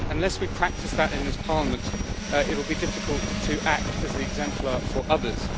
And unless we practise that in this Parliament, it will be difficult to act as the exemplar for others.